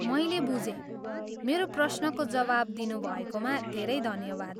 मैले बुझेँ। मेरो प्रश्नको जवाब दिनुभएकोमा धेरै धन्यवाद।